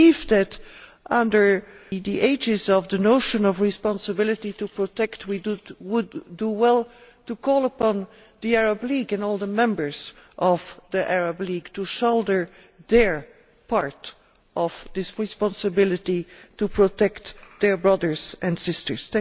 I believe that, under the aegis of the notion of responsibility to protect, we would do well to call upon the Arab League and all the members of the Arab League to shoulder their share of this responsibility to protect their brothers and sisters.